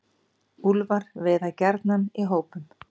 Úlfar veiða gjarnan í hópum.